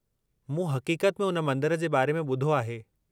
मूं हक़ीक़त में उन मंदरु जे बारे में ॿुधो आहे।